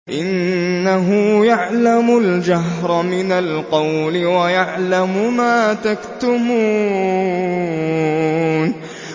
إِنَّهُ يَعْلَمُ الْجَهْرَ مِنَ الْقَوْلِ وَيَعْلَمُ مَا تَكْتُمُونَ